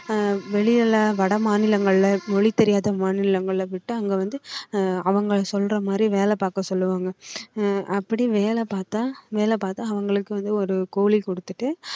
ஆஹ் வெளியில வடமாநிலங்கள்ல மொழி தெரியாத மாநிலங்களை விட்டு அங்க வந்து ஆஹ் அவங்க சொல்ற மாதிரி வேலை பார்க்க சொல்லுவாங்க அஹ் அப்படி வேலை பார்த்தா வேலை பார்த்தா அவங்களுக்கு வந்து ஒரு கூலி கொடுத்துட்டு